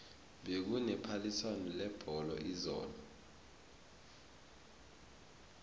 bekune phaliswano lebholo izolo